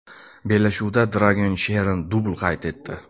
Bellashuvda Dragan Cheran dubl qayd etdi.